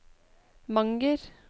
Manger